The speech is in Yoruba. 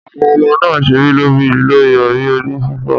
Awon omo naa n sere lori irori oni fifo.